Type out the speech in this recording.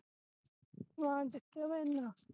ਸਮਾਨ ਚੁਕਿਆ ਬਈ ਇਹਨਾਂ